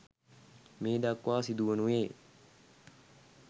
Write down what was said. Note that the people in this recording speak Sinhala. මේ දක්වා සිදු වනුයේ